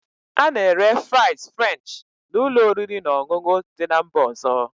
A na-ere fries French na ụlọ oriri na ọṅụṅụ dị na mba ọzọ